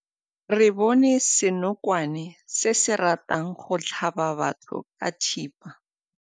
Re bone senokwane se se ratang go tlhaba batho ka thipa.